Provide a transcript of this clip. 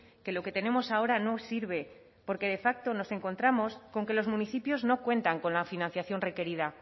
que lo que tenemos ahora no sirve porque de facto nos encontramos con que los municipios no cuentan con la financiación requerida